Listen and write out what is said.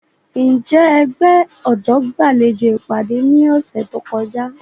Njẹ ẹgbẹ ọdọ gbalejo ipade ni ọsẹ to kọja?